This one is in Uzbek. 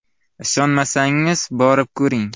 Ishonmasangiz, borib ko‘ring.